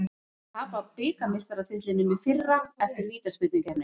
Að tapa bikarmeistaratitlinum í fyrra eftir vítaspyrnukeppni